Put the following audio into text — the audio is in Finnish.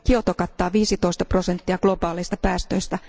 Kioto kattaa 15 prosenttia globaaleista päästöistä.